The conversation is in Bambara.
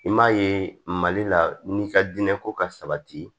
I m'a ye mali la n'i ka diinɛko ka sabati